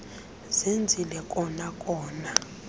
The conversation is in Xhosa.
zenzile kona kona